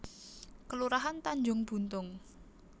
Kelurahan Tanjung Buntung